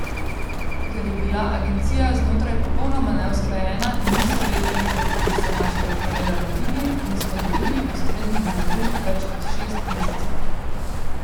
Ker je bila agencija znotraj popolnoma neusklajena in niso vedeli, kako bi se našega primera lotili, nismo dobili ustreznih navodil več kot šest mesecev.